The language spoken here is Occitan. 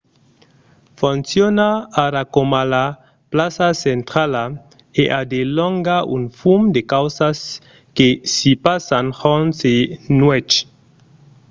fonciona ara coma la plaça centrala e a de longa un fum de causas que s’i passan jorn e nuèch